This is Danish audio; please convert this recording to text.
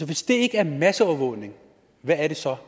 hvis det ikke er masseovervågning hvad er det så